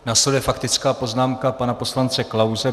Následuje faktická poznámka pana poslance Klause.